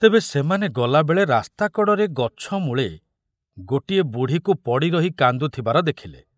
ତେବେ ସେମାନେ ଗଲାବେଳେ ରାସ୍ତା କଡ଼ରେ ଗଛ ମୂଳେ ଗୋଟିଏ ବୁଢ଼ୀକୁ ପଡ଼ି ରହି କାନ୍ଦୁଥିବାର ଦେଖିଲେ।